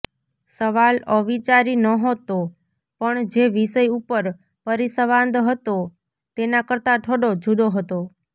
સવાલ અવિચારી નહોતો પણ જે વિષય ઉપર પરિસંવાદ હતો તેના કરતાં થોડો જુદો હતો